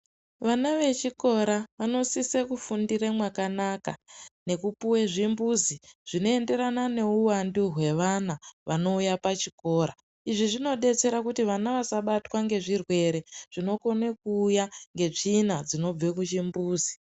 Vana vechikora vanositsa kufundira mwakanaka nekupuwa zvimbuzi zvinoenderana neuwandu hwevana vanouya pachikora, izvi zvinodetsera kuti vana vasabatwa ngezvirwere zvinouya netsvina yekuchimbuzi.